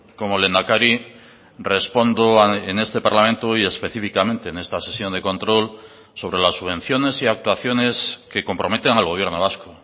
como lehendakari respondo en este parlamento y específicamente en esta sesión de control sobre las subvenciones y actuaciones que comprometen al gobierno vasco